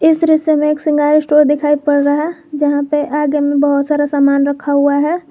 इस तरह से हमे एक सिंगार स्टोर दिखाई पड़ रहा है जहां पर आगे में बहोत सारा सामान रखा हुआ है।